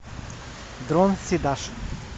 дрон сидаш